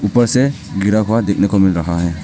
ऊपर से गिरा हुआ देखने को मिल रहा है।